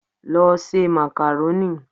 Lọ se màkàrónì!